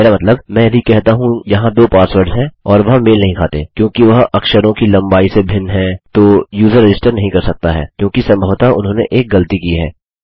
मेरा मतलब मैं यदि कहता हूँ यहाँ दो पासवर्ड्स हैं और वह मेल नहीं खाते क्योंकि वह अक्षरों की लम्बाई से भिन्न हैं तो यूज़र रजिस्टर नहीं कर सकता है क्योंकि सम्भवतः उन्होंने एक गलती की है